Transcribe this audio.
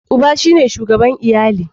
Uba shine shugaban iyali.